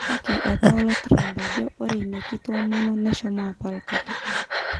Kake etola Trump ajo ore ina kitomono neshomo apal katukul.